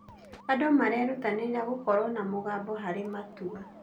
Andũ marerutanĩria gũkorwo na mũgambo harĩ matua.